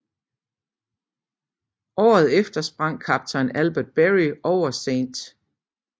Året efter sprang Kaptajn Albert Berry ud over St